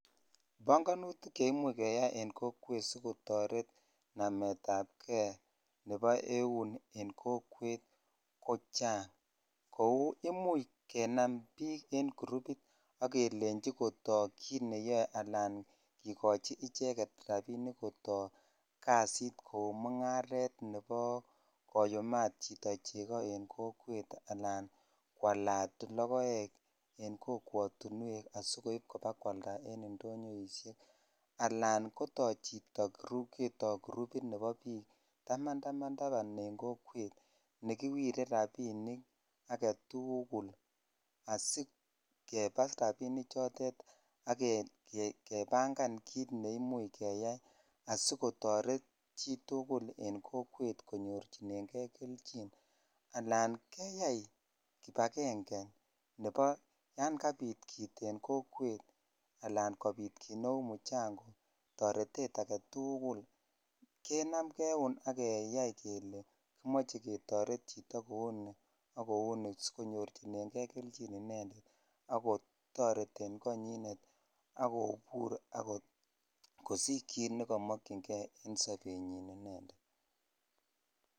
Banganutik cheimuch keyai en kokwet sikotaret namet ab gei Nebo eun en Chito ab kokwet kochang Kou imuche kenam bik en kurubit akelenji Kotaku kit neyae Alan kekachi icheket rabinik Kotaku kasit Kou mungaret Nebo koyumat Chito chegi en kokwet anan kwalat logoek en kokwatinwek asikoib kwalda en indonyo anan kotau Chito groupit Nebo bik Taman en kokwet nekiwire rabinik agetugul asikebas rabinik choton agebangavkit neyoe neimuche keyai sikotaret tugul en kokwet konyorchinegei keljin anan keyai kibagenge Nebo yangabit kit en kokwet anan konmbit kit Neu mchango anan kotaretet agetugul kenamgei euon agetai kele kimache ketaret Chito netakowon sikonyorchigei keljin inendet akotareten koanyin akobur akosich kit nekamakingei en sabebyin inendet.